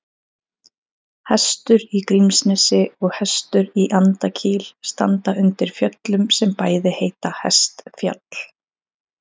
Hestur í Grímsnesi og Hestur í Andakíl standa undir fjöllum sem bæði heita Hestfjall.